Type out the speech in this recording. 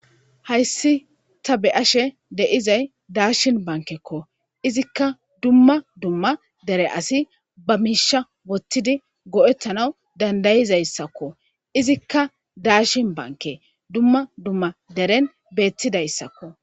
Hayis ta be'ashe dizayi dashini banikeko izika duma duma dere asi ba mishiya wothidi go'etanawu danidaizaysako izika dashini banike duma duma dere betizaysako